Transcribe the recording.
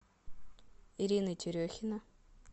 ирина терехина